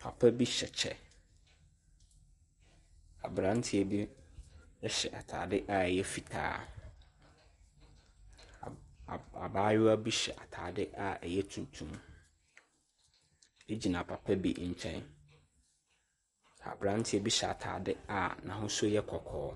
Papa bi hyɛ kyɛ. Abranteɛ bi ɛhyɛ ataadeɛ a ɛyɛ fitaa. Abaayewa bi hyɛ ataade a ɛyɛ tuntum de gyina papa bi nkyɛn. Abranteɛ bi hyɛ ataade a n'ahosuo yɛ kɔkɔɔ.